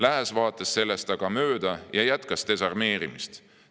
Lääs vaatas sellest aga mööda ja jätkas desarmeerimist.